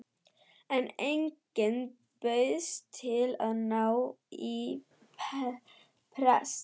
En enginn bauðst til að ná í prest.